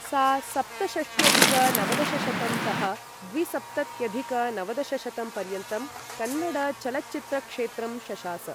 सा सप्तषष्ट्यधिक नवदशशतं तः द्विसप्तत्यधिक नवदशशतं पर्यन्तं कन्नड चलच्चित्रक्षेत्रं शशास।